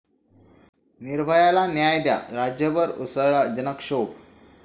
निर्भया'ला न्याय द्या, राज्यभर उसळला जनक्षोभ